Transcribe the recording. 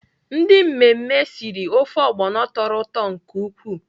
Ndị mmemme siri ofe ogbono tọrọ ụtọ nke ukwuu.